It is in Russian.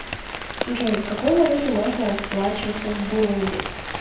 джой какой валютой можно расплачиваться в бурунди